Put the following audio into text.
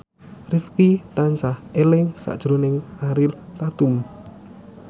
Rifqi tansah eling sakjroning Ariel Tatum